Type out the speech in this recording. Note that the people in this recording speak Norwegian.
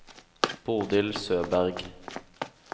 Bodil Søberg